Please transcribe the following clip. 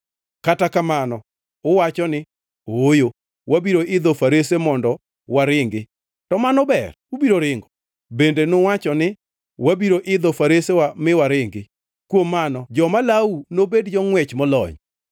Kata kamano uwacho ni, ‘Ooyo, wabiro idho farese mondo waringi.’ To mano ber ubiro ringo! Bende nuwacho ni, ‘Wabiro idho faresewa mi waringi.’ Kuom mano joma lawou nobed jongʼwech molony.